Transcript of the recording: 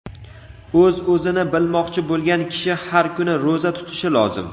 O‘z-o‘zini bilmoqchi bo‘lgan kishi har kuni ro‘za tutishi lozim.